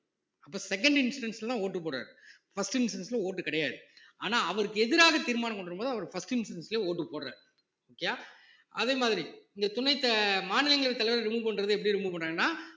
அப்ப second instance லதான் vote டு போடுறாரு first instance ல vote டு கிடையாது ஆனா அவருக்கு எதிராக தீர்மானம் கொண்டு வரும்போது அவர் first instance லயே vote டு போடுறாரு okay யா அதே மாதிரி இந்த துணை த~ மாநிலங்களவை தலைவரை remove பண்றது எப்படி remove பண்றாங்கன்னா